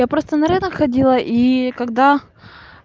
я просто на рынок ходила и когда